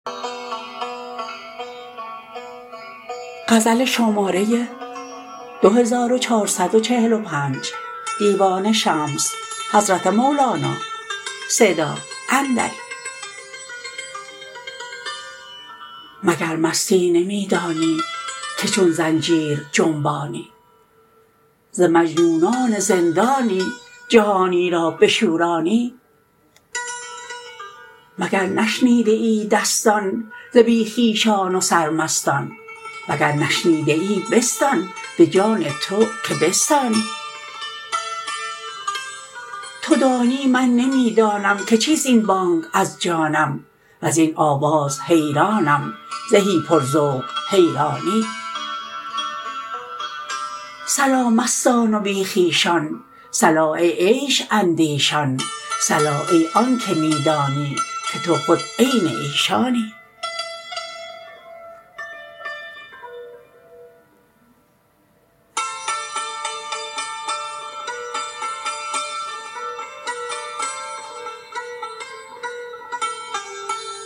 مگر مستی نمی دانی که چون زنجیر جنبانی ز مجنونان زندانی جهانی را بشورانی مگر نشنیده ای دستان ز بی خویشان و سرمستان وگر نشنیده ای بستان به جان تو که بستانی تو دانی من نمی دانم که چیست این بانگ از جانم وزین آواز حیرانم زهی پرذوق حیرانی صلا مستان و بی خویشان صلا ای عیش اندیشان صلا ای آنک می دانی که تو خود عین ایشانی